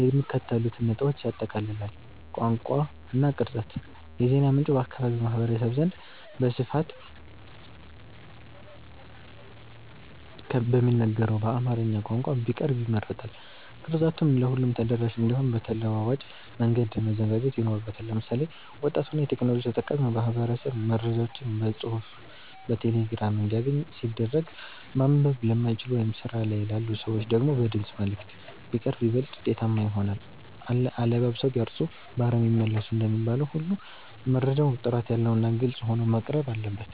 የሚከተሉትን ነጥቦች ያጠቃልላል፦ ቋንቋ እና ቅርጸት፦ የዜና ምንጩ በአካባቢው ማህበረሰብ ዘንድ በስፋት በሚነገረው በአማርኛ ቋንቋ ቢቀርብ ይመረጣል። ቅርጸቱም ለሁሉም ተደራሽ እንዲሆን በተለዋዋጭ መንገድ መዘጋጀት ይኖርበታል። ለምሳሌ፣ ወጣቱና የቴክኖሎጂ ተጠቃሚው ማህበረሰብ መረጃዎችን በጽሑፍ በቴሌግራም እንዲያገኝ ሲደረግ፣ ማንበብ ለማይችሉ ወይም ስራ ላይ ላሉ ሰዎች ደግሞ በድምፅ መልዕክት (Voice Messages) ቢቀርብ ይበልጥ ውጤታማ ይሆናል። "አለባብሰው ቢያርሱ በአረም ይመለሱ" እንደሚባለው ሁሉ፣ መረጃው ጥራት ያለውና ግልጽ ሆኖ መቅረብ አለበት።